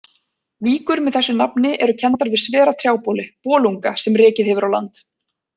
Víkur með þessu nafni eru kenndar við svera trjáboli, bolunga, sem rekið hefur á land.